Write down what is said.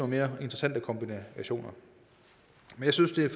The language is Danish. mere interessante kombinationer det synes jeg